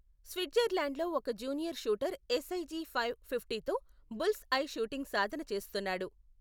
స్విట్జర్లాండ్లో ఒక junior shooter SIG five fifty తో bullseye shooting సాధన చేస్తున్నాడు.